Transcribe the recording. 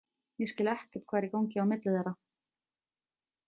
Ég skil ekkert hvað er í gangi á milli þeirra.